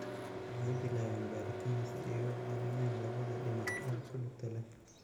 Waxay bilaabeen baaritaan si ay u caawiyaan labada dhinac ee ku lugta leh.